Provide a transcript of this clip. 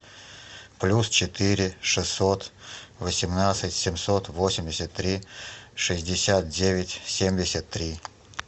плюс четыре шестьсот восемнадцать семьсот восемьдесят три шестьдесят девять семьдесят три